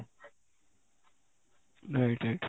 right right